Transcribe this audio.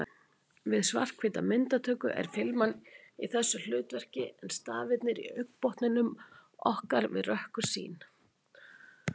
Við svarthvíta myndatöku er filman í þessu hlutverki en stafirnir í augnbotnum okkar við rökkursýn.